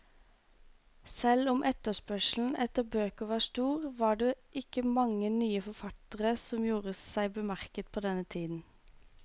Selv om etterspørselen etter bøker var stor, var det ikke mange nye forfattere som gjorde seg bemerket på denne tiden.